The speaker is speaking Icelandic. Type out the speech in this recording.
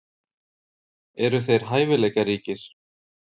Eru þeir hæfileikaríkir?